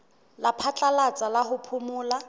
la phatlalatsa la ho phomola